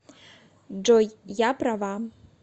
джой я права